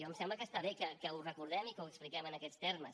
em sembla que està bé que ho recordem i que ho expliquem en aquests termes